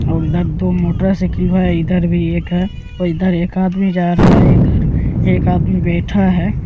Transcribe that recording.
और इधर दो मोटर साइकिलवा इधर भी एक है और इधर एक आदमी जा रहा है इधर एक आदमी बैठा है।